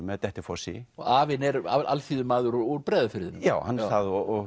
með Dettifossi og afinn er alþýðumaður úr Breiðafirðinum já hann er það og